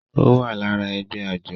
ó wà lára ẹgbẹ́ àjọ